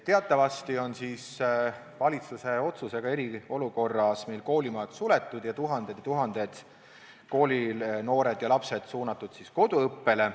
Teatavasti on valitsuse otsusega eriolukorras meil koolimajad suletud ning tuhanded koolinoored ja -lapsed suunatud koduõppele.